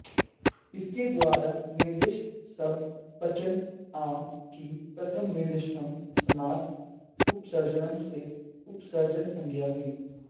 इसके द्वारा निर्दिष्ट शब्द पञ्चन् आम् की प्रथमानिर्दिष्टं समास उपसर्जनम् से उपसर्जनसंज्ञा हुई